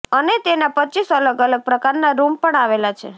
અને તેનાં રપ અલગ અલગ પ્રકારના રૂમ પણ આવેલા છે